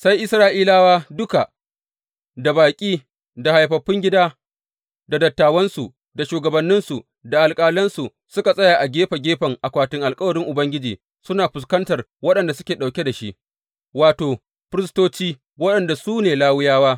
Sai Isra’ilawa duka, da baƙi, da haifaffun gida, da dattawansu, da shugabanninsu, da alƙalansu, suka tsaya a gefe gefen akwatin alkawarin Ubangiji, suna fuskantar waɗanda suke ɗauke da shi, wato, firistoci waɗanda su ne Lawiyawa.